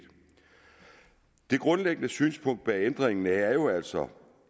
det grundlæggende synspunkt bag ændringen er jo altså